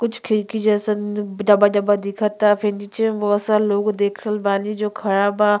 कुछ खिड़की जैसा द डबा डबा दिखता। फिर नीचे में बहोत सारा लोग देखल रहल बानी जो खड़ा बा।